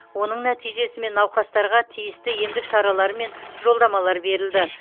оның нәтижесімен науқастарға тиісті емдік шаралар мен жолдамалар берілді